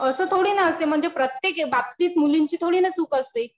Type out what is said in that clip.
असं थोडी ना असते. म्हणजे प्रत्येक बाबतीत मुलींची थोडी ना चूक असते.